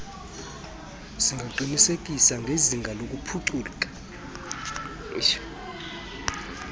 singaqiniseka ngezinga lokuphucuka